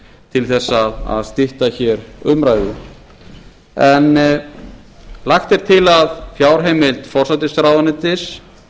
til þess að stytta hér umræðu en lagt er til að fjárheimild forsætisráðuneytis